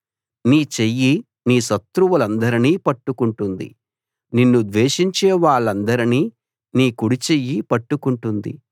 నీ చెయ్యి నీ శత్రువులందరినీ పట్టుకుంటుంది నిన్ను ద్వేషించే వాళ్ళందరినీ నీ కుడిచెయ్యి పట్టుకుంటుంది